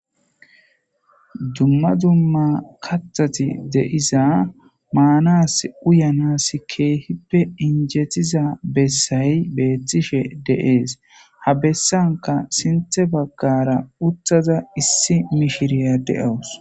Dumma dumma katati deiza maanas uyanas keehippe injetiza bessayi beethtishe deees ha bessanka sinthe baggara uttaza issi mishiriya deawus